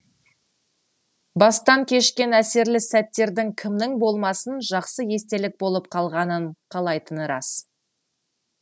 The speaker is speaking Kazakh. бастан кешкен әсерлі сәттердің кімнің болмасын жақсы естелік болып қалғанын қалайтыны рас